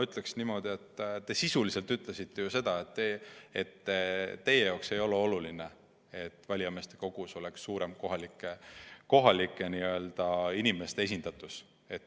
Ütleksin niimoodi, et te sisuliselt ütlesite ju seda, et teie jaoks ei ole oluline, et valijameeste kogus oleks suurem kohalike inimeste esindatus.